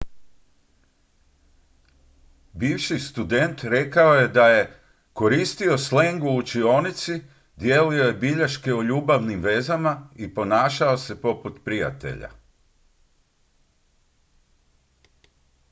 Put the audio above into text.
"bivši student rekao je da je "koristio sleng u učionici dijelio je bilješke o ljubavnim vezama i ponašao se poput prijatelja"".